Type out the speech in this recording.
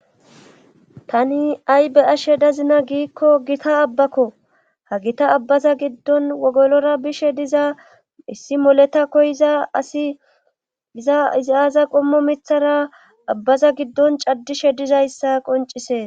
Tani ay be ashe dazina giikko gita abbakko ha gita abbaza giddon wogolora bishe diza issi moleta koyiza asi iza iziyaaza qommo mithara abbaza giddon caddishe dizayssa qoncise.